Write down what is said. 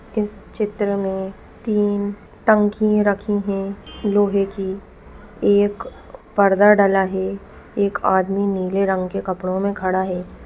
इस चित्र में तीन टंकी रखी है लोहे की एक पर्दा डला है एक आदमी नीले रंग के कपड़ो में खड़ा है।